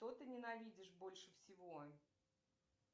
что ты ненавидишь больше всего